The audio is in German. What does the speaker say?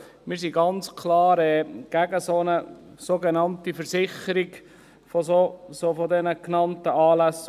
Wir sind ganz klar gegen eine sogenannte Versicherung der genannten Anlässe.